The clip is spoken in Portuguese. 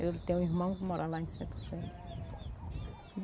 Eu tenho um irmão que mora lá em Centro-Sé.